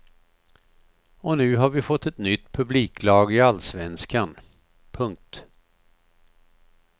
Och nu har vi fått ett nytt publiklag i allsvenskan. punkt